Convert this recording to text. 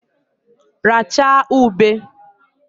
Rachaa ube!